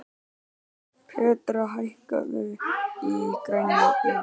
Petrea, hækkaðu í græjunum.